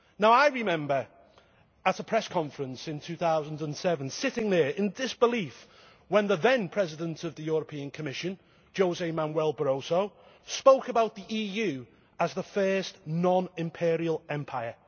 I remember at a press conference in 2007 sitting there in disbelief when the then President of the European Commission, José Manuel Barroso, spoke about the EU as the first non-imperial empire.